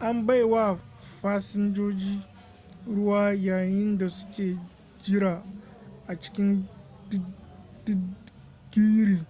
an bai wa fasinjoji ruwa yayin da suke jira a cikin didgiri